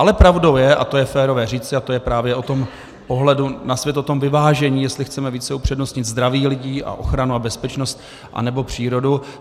Ale pravdou je, a to je férové říci, a to je právě o tom pohledu na svět, o tom vyvážení, jestli chceme více upřednostnit zdraví lidí a ochranu a bezpečnost, anebo přírodu.